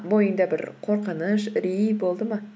бойыңда бір қорқыныш үрей болды ма